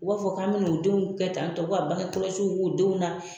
U b'a fɔ ko an bɛn'u denw kɛ tan tɔ ko ka bagekɔlɔsiw k'u denw na